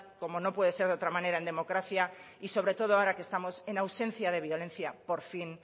como no puede ser de otra manera en democracia y sobre todo ahora que estamos en ausencia de violencia por fin